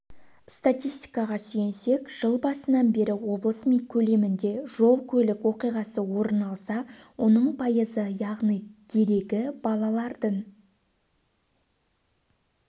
статистикаға сүйенсек жыл басынан бері облыс көлемінде жол-көлік оқиғасы орын алса оның пайызы яғни дерегі балалардың